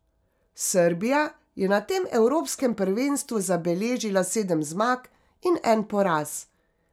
Srbija je na tem evropskem prvenstvu zabeležila sedem zmag in en poraz.